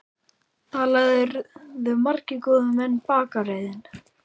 Þar lærðu margir góðir menn bakaraiðn.